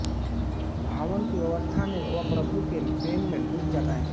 भावन की अवस्था में वह प्रभु के प्रेम में डूब जाता हैं